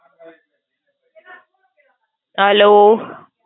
Hello?